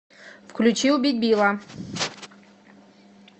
включи убить билла